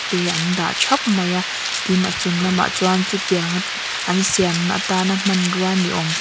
te an dah thap mai a tin a chung lamah chuan chutianga an siamna atan a hmanrua ni awm --